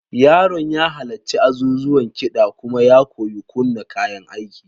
Yaron ya halarci azuzuwan kiɗa kuma ya koyi kunna kayan aiki.